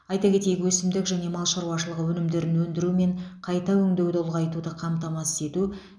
айта кетейік өсімдік және мал шаруашылығы өнімдерін өндіру мен қайта өңдеуді ұлғайтуды қамтамасыз ету